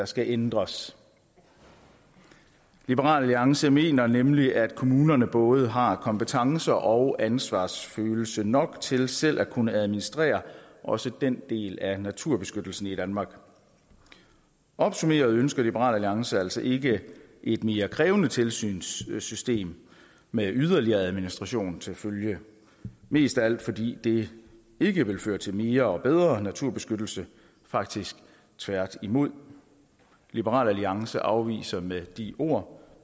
skal ændres liberal alliance mener nemlig at kommunerne både har kompetencer og ansvarsfølelse nok til selv at kunne administrere også den del af naturbeskyttelsen i danmark opsummeret ønsker liberal alliance altså ikke et mere krævende tilsynssystem med yderligere administration til følge mest af alt fordi det ikke vil føre til mere og bedre naturbeskyttelse faktisk tværtimod liberal alliance afviser med de ord